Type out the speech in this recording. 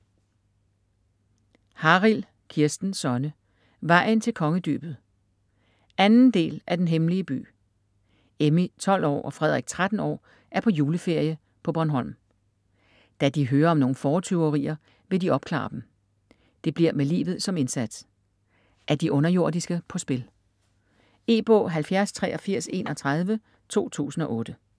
Harild, Kirsten Sonne: Vejen til Kongedybet 2. del af Den hemmelige by. Emmy, 12 år, og Frederik, 13 år er på juleferie på Bornholm. Da de hører om nogle fåretyverier, vil de opklare dem. Det bliver med livet som indsats. Er de underjordiske på spil?. E-bog 708331 2008.